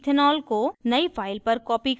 ethanol को नयी file पर copy करें